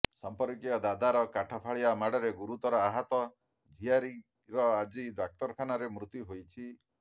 ସମ୍ପର୍କୀୟ ଦାଦାର କାଠ ଫାଳିଆ ମାଡରେ ଗୁରୁତର ଆହତ ଝିଆରୀର ଆଜି ଡାକ୍ତରଖାନାରେ ମୃତ୍ୟୁ ହୋଇଛି